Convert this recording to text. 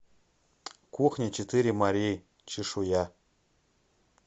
кухня четыре морей чешуя